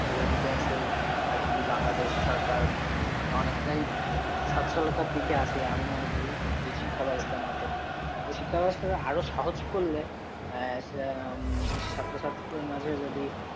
আর কি বাংলাদেশ সরকার অনেকটাই স্বচ্ছলতার দিকে আছে, আমি মনে করি এই শিক্ষা ব্যবস্থার মাধ্যমে, তো শিক্ষা ব্যবস্থাটা আরও সহজ করলে আহ আহ এই ছাত্রছাত্রীদের মাঝে যদি